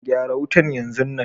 Gyara wutan yanzon nan.